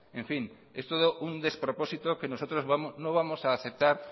en fin es todo un despropósito que nosotros no vamos a aceptar